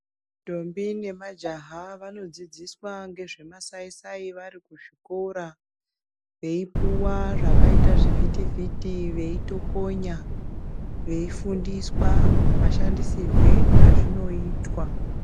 Ndombi namajaha vanodzidziswa ngezvemasai-sai vari kuzvikora. Veipuwa zvakaita zvivhitivhiti veitokonya, veifundiswa mashandisirwe azvinoitwa.